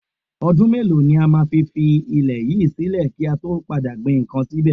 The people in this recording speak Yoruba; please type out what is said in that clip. Ọdún mélòó ni a fi máa fi ilẹ̀ yìí sílè kí a tó padà gbin ǹkan síbẹ̀?